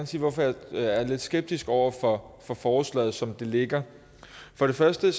sige hvorfor jeg er lidt skeptisk over for forslaget som det ligger for det første